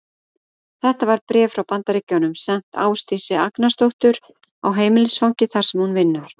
Þetta var bréf frá Bandaríkjunum sent Ásdísi Agnarsdóttur á heimilisfangið, þar sem hún vinnur.